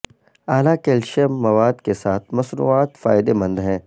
اعلی کیلشیم مواد کے ساتھ مصنوعات فائدہ مند ہیں